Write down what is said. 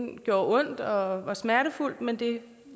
det ondt og var smertefuldt men det